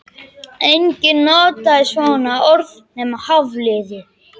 Enginn notaði svona orð nema Hafliði.